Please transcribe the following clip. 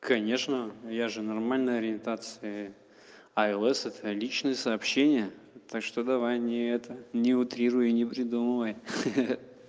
конечно я же нормально ориентации а л с это личные сообщения так что давай не это не утрируй и не придумывай хи-хи